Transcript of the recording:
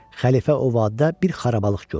Xəlifə o vadidə bir xarabalıq gördü.